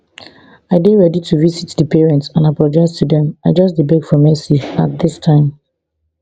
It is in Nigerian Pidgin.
i dey ready to visit di parents and apologise to dem i just dey beg for mercy at dis time